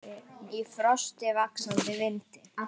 Í frosti, vaxandi vindi.